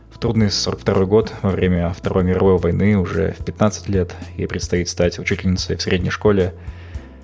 в трудный сорок второй год во время второй мировой войны уже в пятнадцать лет ей предстоит стать учительницей средней школе